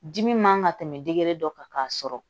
Dimi man ka tɛmɛ dege dɔ kan k'a sɔrɔ